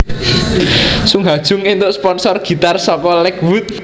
Sung Ha Jung éntuk sponsor gitar saka Lakewood